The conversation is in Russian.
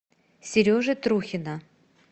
сережи трухина